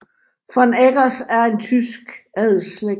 von Eggers er en tysk adelsslægt